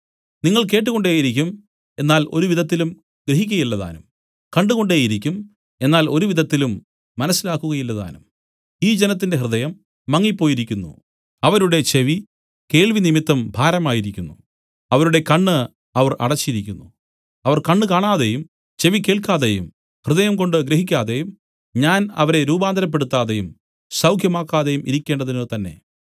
നിങ്ങൾ കേട്ടുകൊണ്ടേയിരിക്കും എന്നാൽ ഒരുവിധത്തിലും ഗ്രഹിക്കയില്ലതാനും കണ്ടുകൊണ്ടേയിരിക്കും എന്നാൽ ഒരുവിധത്തിലും മനസ്സിലാക്കുകയില്ലതാനും ഈ ജനത്തിന്റെ ഹൃദയം മങ്ങിപ്പോയിരിക്കുന്നു അവരുടെ ചെവി കേൾവിനിമിത്തം ഭാരമായിരിക്കുന്നു അവരുടെ കണ്ണ് അവർ അടച്ചിരിക്കുന്നു അവർ കണ്ണ് കാണാതെയും ചെവി കേൾക്കാതെയും ഹൃദയംകൊണ്ട് ഗ്രഹിക്കാതെയും ഞാൻ അവരെ രൂപാന്തരപ്പെടുത്താതെയും സൗഖ്യമാക്കാതെയും ഇരിക്കേണ്ടതിനുതന്നെ